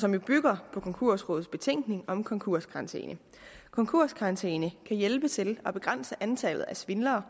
som jo bygger på konkursrådets betænkning om konkurskarantæne konkurskarantæne kan hjælpe til at begrænse antallet af svindlere